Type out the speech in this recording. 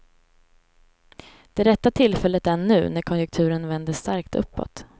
Det rätta tillfället är nu, när konjunkturen vänder starkt uppåt.